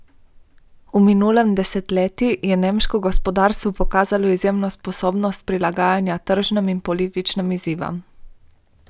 V minulem desetletju je nemško gospodarstvo pokazalo izjemno sposobnost prilagajanja tržnim in političnim izzivom.